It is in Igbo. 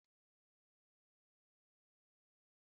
Ị nwere ike ịgwa m njakịrị?